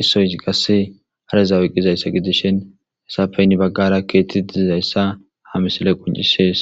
issoyi qasse hareza woyqqizayssa gidishin hesafeynni baggara keetti diizayssa ha misile qoncisees